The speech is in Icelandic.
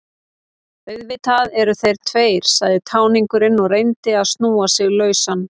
Auðvitað eru þeir tveir, sagði táningurinn og reyndi að snúa sig lausan.